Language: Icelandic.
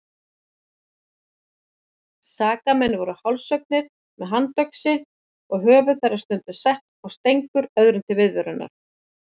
Sakamenn voru hálshöggnir með handöxi og höfuð þeirra stundum sett á stengur öðrum til viðvörunar.